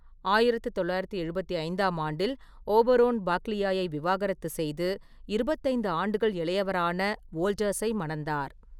ஆயிரத்து தொள்ளாயிரத்து எழுபத்தி ஐந்தாம் ஆண்டில் ஓபரோன் பாக்லியாயை விவாகரத்து செய்து, இருபத்தைந்து ஆண்டுகள் இளையவரான வோல்டர்ஸை மணந்தார்.